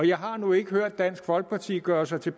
jeg har nu ikke hørt dansk folkeparti gøre sig til